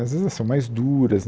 Às vezes, elas são mais duras.